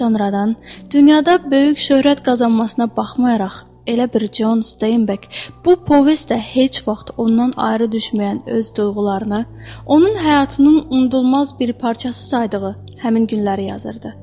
Sonradan dünyada böyük şöhrət qazanmasına baxmayaraq, elə bir Con Steynbek bu povestdə heç vaxt ondan ayrı düşməyən öz duyğularına, onun həyatının unudulmaz bir parçası saydığı həmin günləri yazırdı.